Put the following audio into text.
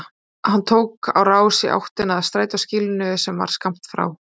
Hann tók á rás í áttina að strætóskýlinu sem var skammt frá.